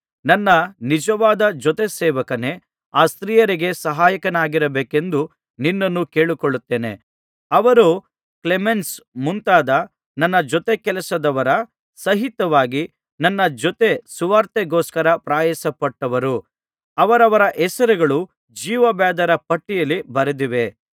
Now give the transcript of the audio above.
ನನ್ನ ನಿಜವಾದ ಜೊತೆ ಸೇವಕನೇ ಆ ಸ್ತ್ರೀಯರಿಗೆ ಸಹಾಯಕನಾಗಿರಬೇಕೆಂದು ನಿನ್ನನ್ನೂ ಕೇಳಿಕೊಳ್ಳುತ್ತೇನೆ ಅವರು ಕ್ಲೇಮೆನ್ಸ್ ಮುಂತಾದ ನನ್ನ ಜೊತೆಕೆಲಸದವರ ಸಹಿತವಾಗಿ ನನ್ನ ಜೊತೆ ಸುವಾರ್ತೆಗೋಸ್ಕರ ಪ್ರಯಾಸಪಟ್ಟವರು ಅವರವರ ಹೆಸರುಗಳು ಜೀವಬಾಧ್ಯರ ಪಟ್ಟಿಯಲ್ಲಿ ಬರೆದಿವೆ